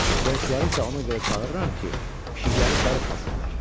Qonşuları isə ona görə çağırıram ki, pişiklərinin darıxmasınlar.